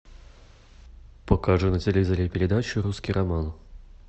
покажи на телевизоре передачу русский роман